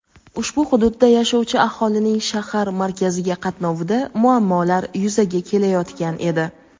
ushbu hududda yashovchi aholining shahar markaziga qatnovida muammolar yuzaga kelayotgan edi.